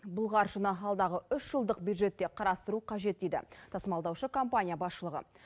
бұл қаржыны алдағы үш жылдық бюджетте қарастыру қажет дейді тасымалдаушы компания басшылығы